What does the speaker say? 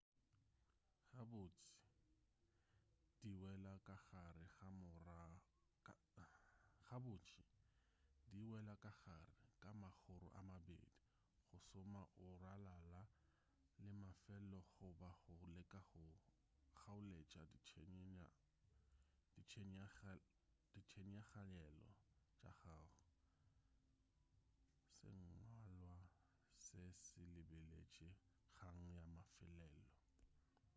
gabotse di wela ka gare ga magoro a mabedi go šoma o ralala le mafelo goba go leka go kgaoletša ditshenyagalelo tša gago sengwalwa se se lebeletše kgang ya mafelelo